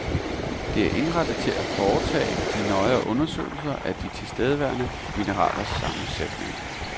Det er indrettet til at foretage de nøjere undersøgelser af de tilstedeværende mineralers sammensætning.